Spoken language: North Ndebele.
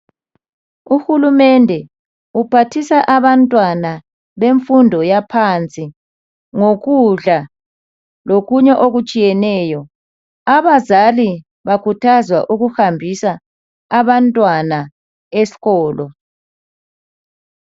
Uhulumende uphathisa abantwana bemfundo yaphansi ngokudla lokunye okutshiyeneyo. Abazali bakhuthazwa ukuhambisa abantwana esikolo.